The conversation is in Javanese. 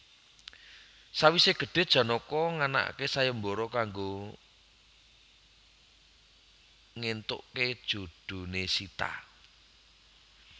Sawise gedhe Janaka nganakake sayembara kanggo ngentuke jodhone Sita